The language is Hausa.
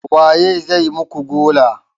Waye zai muku gola?